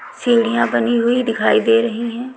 सीढ़ियां बनी हुई दिखाई दे रही हैं।